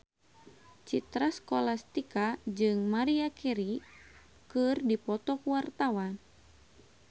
Citra Scholastika jeung Maria Carey keur dipoto ku wartawan